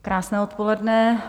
Krásné odpoledne.